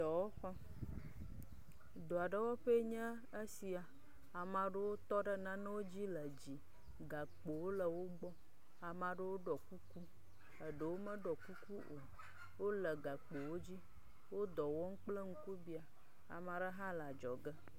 Dɔa ɖe wɔƒee nye esia. Ame aɖewo tɔ ɖe nanewo dzi le gakpowo le wo gbɔ. Amea ɖewo gbɔ. Eɖewo meɖiɔ kuku o wle gakpo wo dzi wo dɔ wɔm kple ŋkubia. Amea ɖe hã le dzɔge.